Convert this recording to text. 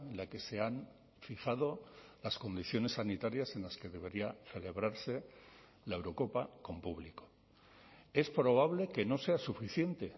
la que se han fijado las condiciones sanitarias en las que debería celebrarse la eurocopa con público es probable que no sea suficiente